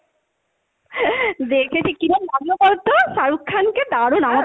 দেখেছি কিরম লাগলো বলতো, শাহরুখ খানকে? দারুন আমার